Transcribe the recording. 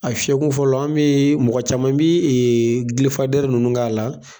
A fiɲɛko fɔlɔ, an bɛ mɔgɔ caman bɛ gilifadɛri ninnu k'a la.